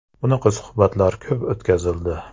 Bunaqa suhbatlar ko‘p o‘tkazildi.